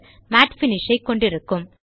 மட் பினிஷ் ஐ கொண்டிருக்கும்